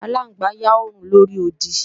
Aláǹgbá ń yá òòrùn lóri odi